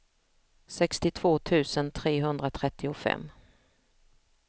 sextiotvå tusen trehundratrettiofem